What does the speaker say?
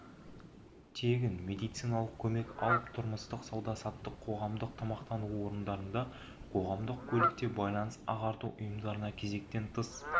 тегін медициналық көмек алып тұрмыстық сауда-саттық қоғамдық тамақтану орындарында қоғамдық көлікте байланыс-ағарту ұйымдарында кезектен тыс